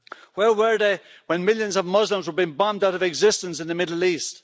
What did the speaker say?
Where were they when millions of Muslims were being bombed out of existence in the Middle East?